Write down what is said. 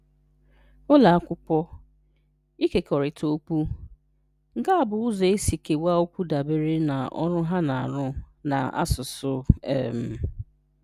Ụlọ Akwụkwọ: Ịkekọrịta Okwu: Nke a bụ ụzọ e si kewaa okwu dabere na ọrụ ha na-arụ na asụsụ. um